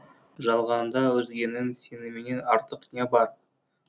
жалғанда өзгенің сенімінен артық не бар